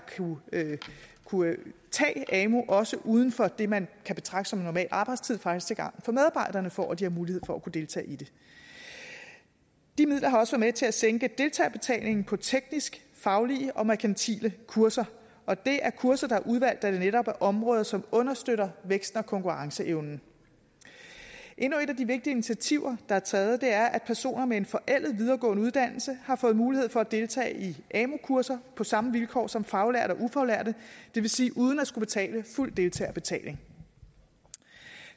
kunne tage amu også uden for det man kan betragte som normal arbejdstid faktisk til gavn for medarbejderne for at de har mulighed for at kunne deltage i det de midler har også været med til at sænke deltagerbetalingen på tekniske faglige og merkantile kurser og det er kurser der er udvalgt da det netop er områder som understøtter væksten og konkurrenceevnen endnu et af de vigtige initiativer der er taget er at personer med en forældet videregående uddannelse har fået mulighed for at deltage i amu kurser på samme vilkår som faglærte og ufaglærte det vil sige uden at skulle betale fuld deltagerbetaling